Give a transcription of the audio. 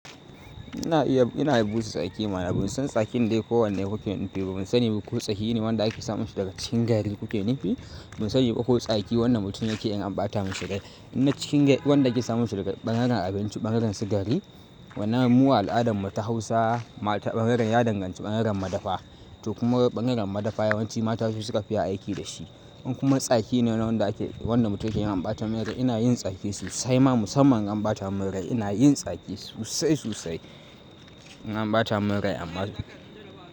Ina iya, ina iya busa tsaki manam ban san tsakin dai ko wanne kuke nufi. Ban sani ba ko tsaki ne wanda ake samun shi daga cikin gari kuke nufi. Ban sani ba ko tsaki wanda mutum yake yi idan ambata mishi dai. Ina cikin wanda ake samun shi daga ɓangaren abinci, ɓangaren su gari. Wannan mu al'adar mu ta Hausa, ɓangaren ya danganci ɓangaren madafa to kuma ɓangaren madafa yawanci mata su suka fi iya aiki dashi. In kuma tsaki ne wanda ake, wanda mutum yake yin ambata min rai ina yin tsaki sosai ma musamman ambata min rai ina yin tsaki sosai sosai in ambata min rai amma.